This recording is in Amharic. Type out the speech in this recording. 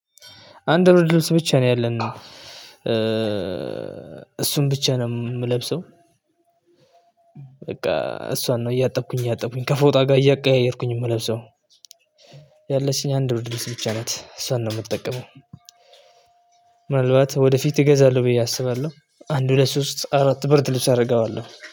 አንድ ብርድ ልብስ ብቻ ነው ያለን። እሱን ብቻ ነው ምለብሰው። በቃ እሷን ነው እያጠብኩኝ እያጠብኩኝ ከፎታ ጋር እያቀያየርኩኝ ምለብሰው። ያለችኝ አንድ ብርድ ልብስ ብቻ ናት እሷን ነው ምትጠቀመው። ምናልባት ወደፊት እገዛለሁ ብዬ አስባለሁ አንድ ሁለት ሶስት አራት ብርድ ልብስ አደርገዋለሁ